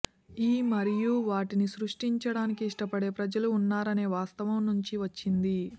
ఈ మరియు వాటిని సృష్టించడానికి ఇష్టపడే ప్రజలు ఉన్నారనే వాస్తవం నుంచి వచ్చింది